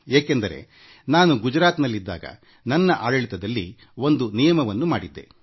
ಏಕೆಂದರೆ ನಾನು ಗುಜರಾತ್ನಲ್ಲಿದ್ದಾಗ ನನ್ನ ಆಡಳಿತದಲ್ಲಿ ಒಂದು ನಿಯಮವನ್ನು ಮಾಡಿದ್ದೆ